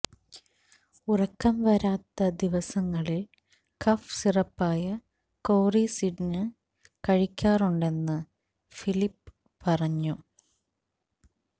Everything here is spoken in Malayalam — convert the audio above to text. ഉറക്കം വരാത്ത ദിവസങ്ങളില് കഫ് സിറപ്പായ കോറിസിഡിന് കഴിക്കാറുണ്ടെന്ന് ഫിലിപ് പറഞ്ഞു